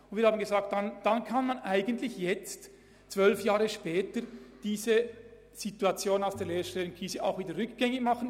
Wir haben uns gesagt, wir könnten diesen Ausbau heute, zwölf Jahre nach der Lehrstellenkrise, auch rückgängig machen.